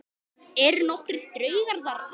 Skoðið einnig skyld svör